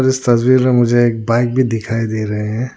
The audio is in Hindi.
इस तस्वीर में मुझे एक बाइक भी दिखाई दे रहे हैं।